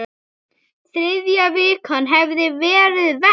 Þriðja vikan hefði verið verst.